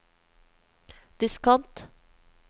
diskant